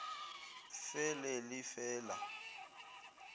fe le le fe la